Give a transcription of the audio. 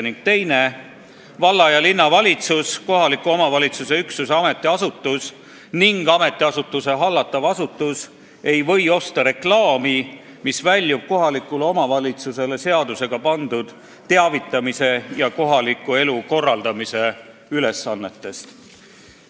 Ning teine: valla- ja linnavalitsus, kohaliku omavalitsuse üksuse ametiasutus ning ametiasutuse hallatav asutus ei või osta reklaami, mis väljub kohalikule omavalitsusele seadusega pandud teavitamise ja kohaliku elu korraldamise ülesannetest.